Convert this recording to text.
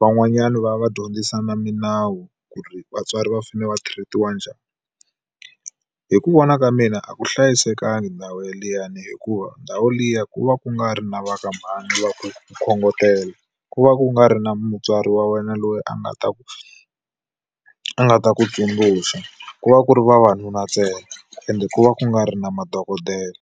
van'wanyani va va dyondzisa na milawu ku ri vatswari va fanele va treat-iwa njhani. Hi ku vona ka mina a ku hlayisekanga ndhawu liyani hikuva ndhawu liya ku va ku nga ri na va ka mhani va ku ku khongotela. Ku va ku nga ri na mutswari wa wena loyi a nga ta ku a nga ta ku tsundzuxa, ku va ku ri vavanuna ntsena ende ku va ku nga ri na madokodela.